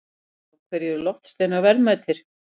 Af hverju eru loftsteinar verðmætir?